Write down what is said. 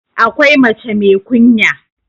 akwai mace mai kunya